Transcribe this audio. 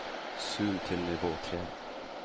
zoom til nivå tre